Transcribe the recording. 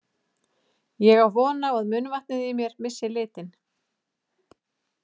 Ég á von á að munnvatnið í mér missi litinn.